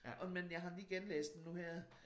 Og men jeg har lige genlæst den nu her